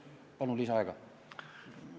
Palun lisaaega!